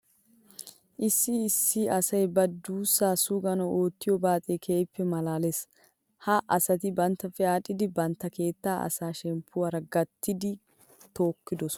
Issi issi asay ba duussaa suganawu oottiyo baaxee keehippe maalaalees. Ha asati banttappe aadhdhidi bantta keettaa asaa shemppuwara gattidi tookkidosona.